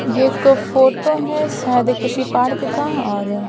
ये एक फोटो है शायद किसी पार्क का और--